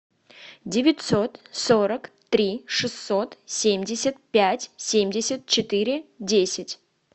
девятьсот сорок три шестьсот семьдесят пять семьдесят четыре десять